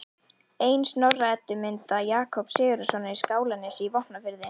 Ein Snorra-Eddu mynda Jakobs Sigurðssonar í Skálanesi í Vopnafirði